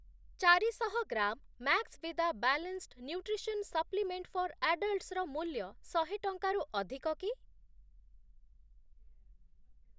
ଚାରିଶହ gram Maxvida balanced nutrition supplement for ଆଡଲ୍ଟ୍‌ସ୍‌ର ମୂଲ୍ୟ ଶହେ ଟଙ୍କାରୁ ଅଧିକ କି?